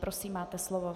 Prosím, máte slovo.